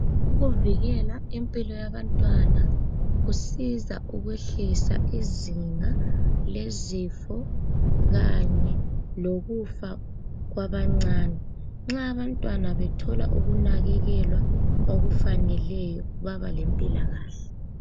Ukuvikela impilo yabantwana kusiza ukwehlisa izinga lezifo kanye lokufa kwabancane, nxa abantwana bethola ukunakekela okufaneleyo baba lempilakahle